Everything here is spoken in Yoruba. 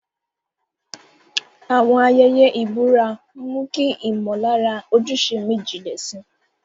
Àwọn ayẹyẹ ìbúra mú kí ìmọ̀lára ojúṣe mi jinlẹ̀ sí i